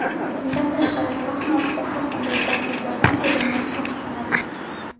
Bundan tashqari, sahna ortida har qanday gadjetlardan foydalanish taqiqlanadi.